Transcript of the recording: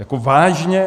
Jako vážně?